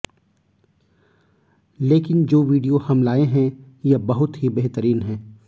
लेकिन जो वीडियो हम लाए है यह बहुत ही बेहतरीन है